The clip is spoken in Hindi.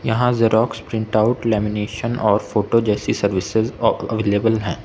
यहां जेरॉक्स प्रिंट आउट लेमिनेशन और फोटो जैसी सर्विसेज अह अवेलेबल हैं।